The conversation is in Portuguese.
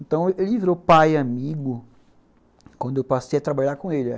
Então ele virou pai e amigo quando eu passei a trabalhar com ele.